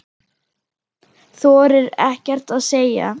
Þorir ekkert að segja.